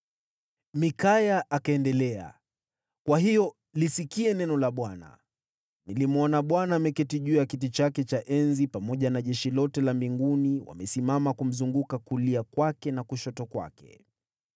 Mikaya akaendelea, “Kwa hiyo lisikie neno la Bwana : Nilimwona Bwana ameketi juu ya kiti chake cha enzi pamoja na jeshi lote la mbinguni likiwa limesimama kumzunguka upande wa kulia na wa kushoto.